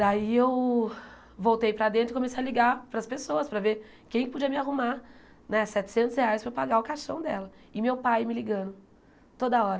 Daí eu voltei para dentro e comecei a ligar para as pessoas para ver quem podia me arrumar né setecentos reais para eu pagar o caixão dela e meu pai me ligando toda hora.